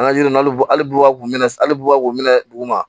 An ka yiri bulu hali bubaku minɛ ali bubakon minɛ duguma